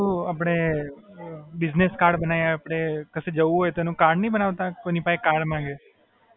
એવું આપડે business card બનાવીએ આપડે, કશે જવું હોય તો એનું card નહીં બનાવતા, કોઇની પાસે card માંગીએ.